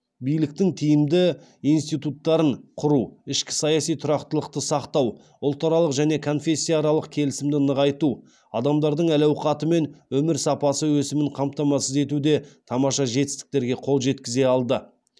биліктің тиімді институттарын құру ішкі саяси тұрақтылықты сақтау ұлтаралық және конфессияаралық келісімді нығайту адамдардың әл ауқаты мен өмір сапасы өсімін қамтамасыз етуде тамаша жетістіктерге қол жеткізе алды